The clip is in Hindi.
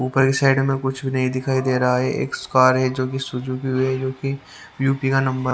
ऊपर की साइड में कुछ भी नहीं दिखाई दे रहा है एक कार है जो कि सुजुकी है जो कि यू_पी का नंबर --